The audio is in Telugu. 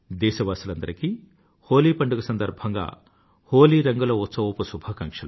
దేశవాసులందరికీ హోలీ పండుగ సందర్భంగా హోలీ రంగుల ఉత్సవపు శుభాకాంక్షలు